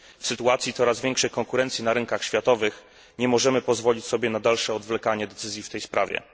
W sytuacji coraz większej konkurencji na rynkach światowych nie możemy pozwolić sobie na dalsze odwlekanie decyzji w tej sprawie.